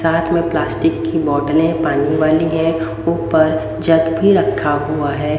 साथ में प्लास्टिक की बोटले पानी वाली हैं ऊपर जग भी रखा हुआ है।